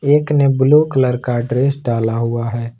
एक ने blue colour का ड्रेस डाला हुआ है।